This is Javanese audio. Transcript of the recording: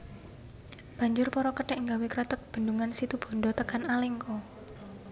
Banjur para kethèk nggawe kreteg bendhungan situbanda tekan Alengka